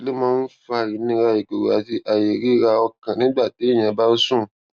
kí ló máa ń fa ìnira ìgòrò àti àìríraọkàn nígbà téèyàn bá ń sùn